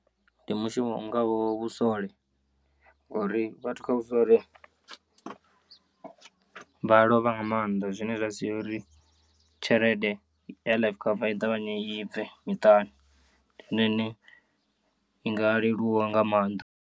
Ndi mushumo u ngaho vhusole ngori vhathu kha vhusole vha lovha nga maanḓa zwine zwa sia uri tshelede ya life cover i ṱavhanye i bve miṱani ndi yone ine i nga leluwa nga maanḓa.